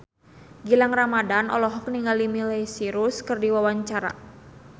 Gilang Ramadan olohok ningali Miley Cyrus keur diwawancara